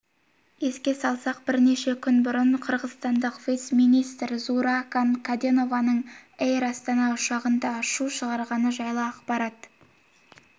еске салсақ бірнеше күн бұрын қырғызстандық виц-министр зууракан каденованың эйр астана ұшағында шу шығарғаны жайлы ақпарат